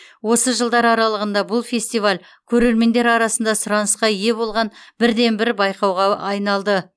осы жылдар аралығында бұл фестиваль көрермендер арасында сұранысқа ие болған бірден бір байқауға айналды